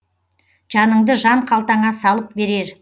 жаныңды жан қалтаңа салып берер